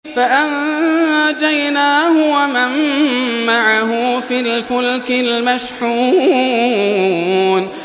فَأَنجَيْنَاهُ وَمَن مَّعَهُ فِي الْفُلْكِ الْمَشْحُونِ